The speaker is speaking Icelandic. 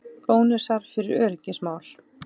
Bónusar fyrir öryggismál